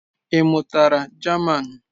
Ị mụtara German?